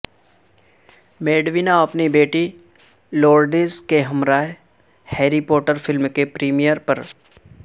Madonna اپنی بیٹی Lourdes کے ہمراہ ہیری پوٹر فلم کے پریمیئر پر